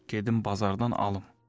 Gedim bazardan alım.